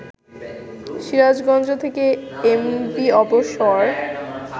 সিরাজগঞ্জ থেকে এমভি অবসর